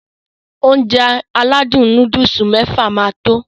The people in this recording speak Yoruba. Ounjẹ aládùn nóódùsì mẹ́fà máa tó